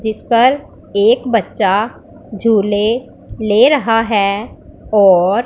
जिसपर एक बच्चा झूले ले रहा है और--